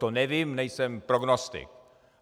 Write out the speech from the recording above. To nevím, nejsem prognostik.